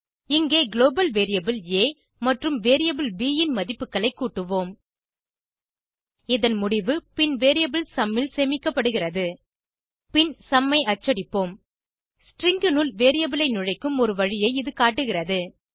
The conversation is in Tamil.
இங்கே குளோபல் வேரியபிள் ஆ மற்றும் வேரியபிள் ப் ன் மதிப்புகளை கூட்டுவோம் இதன் முடிவு பின் வேரியபிள் சும் ல் சேமிக்கப்படுகிறது பின் சும் ஐ அச்சடிப்போம் ஸ்ட்ரிங் னுள் வேரியபிள் ஐ நுழைக்கும் ஒரு வழியை இது காட்டுகிறது